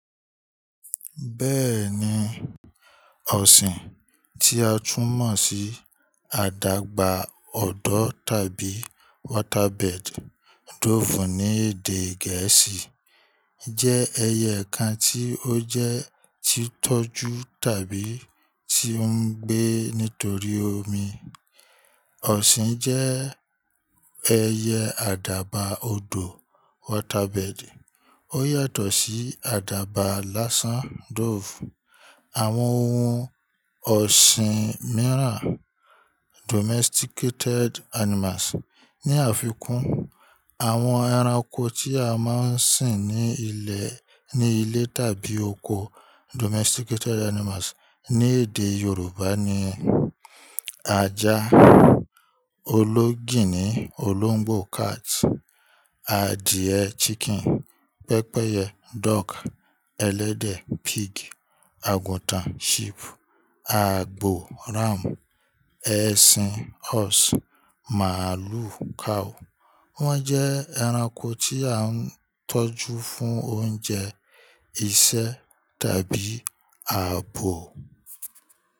Bẹ́ẹ̀ni, ọ̀sìn, tí a tún mọ̀ sí àdàbà òdò tàbí waterbed, dove ní èdè Gẹ̀ẹ́sì, jẹ́ ẹyẹ kan tí ó jẹ́ ti tọ́jú tàbí tí ó ń gbé nítorí omi. Ọ̀sìn jẹ́ ẹyẹ àdàbà òdò, waterbed. Ó yàtọ̀ sí àdàbà lásán, dove. Àwọn ohun ọ̀sìn mìíràn, domesticated animals, ní àfikún àwọn ẹranko tí a máa ń sìn ní ilẹ̀ ní ilé tàbí oko, domesticated animals, ní èdè Yorùbá ni ajá, ológìnní, olóńgbò, cat, adìẹ, chicken, pẹ́pẹ́yẹ, dog, ẹlẹ́dẹ̀, pig, àgùntàn, sheep, àgbò, ram, ẹṣin, horse, màálù, cow. Wọ́n jẹ́ ẹranko tí à ń tọ́jú fún oúnjẹ, iṣẹ́ tàbí ààbò.